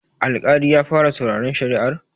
Alƙali ya fara sauraren shari'ar?